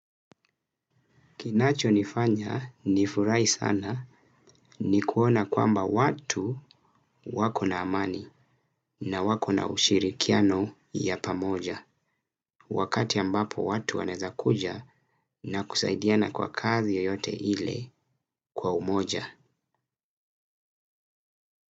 Kinacho nifanya nifurahi sana ni kuona kwamba watu wako na amani na wako na ushiri kiano ya pamoja. Wakati ambapo watu wanaweza kuja na kusaidiana kwa kazi yoyote ile kwa umoja.